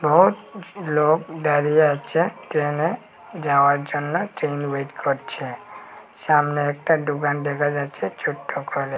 বহুত লোক দাঁড়িয়ে আছে ট্রেনে যাওয়ার জন্যে ট্রেন ওয়েট করছে সামনে একটা ডোকান দেখা যাচ্ছে ছোট্ট করে।